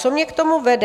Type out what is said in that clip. Co mě k tomu vede.